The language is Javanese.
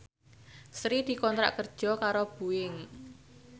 Sri dikontrak kerja karo Boeing